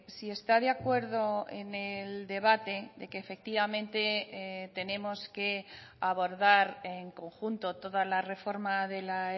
si está de acuerdo en el debate de que efectivamente tenemos que abordar en conjunto toda la reforma de la